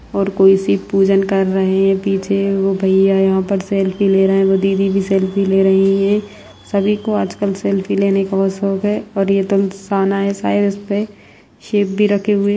और कोई सी पूजन कर रहे हैं पीछे यह भैया यहां पर सेल्फी ले रहे हैं दीदी भी सेल्फी ले रही है सभी को आज कर सेल्फी लेने का बहुत शौक है और यह तो सहना है शायद इसपे शिव भी रखे हुए--